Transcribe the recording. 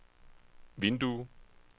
vindue